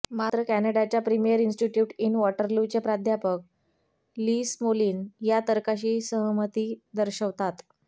मात्र कॅनडाच्या premier institute in वॉटरलूचे प्राध्यापक ली स्मोलीन या तर्काशी असहमती दर्शवतात